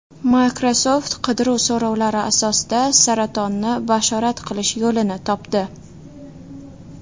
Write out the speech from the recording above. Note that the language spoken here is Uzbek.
Microsoft qidiruv so‘rovlari asosida saratonni bashorat qilish yo‘lini topdi.